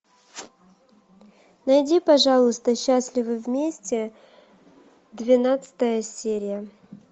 найди пожалуйста счастливы вместе двенадцатая серия